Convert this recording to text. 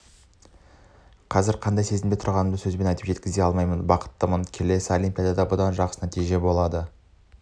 қазір қандай сезімде тұрғанымды сөзбен айтып жеткізе алмаймын бақыттымын келесі олимпиадада бұдан да жақсы нәтиже болады